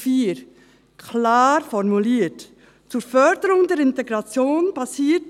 Schon damals formulierten wir in Artikel 4 klar: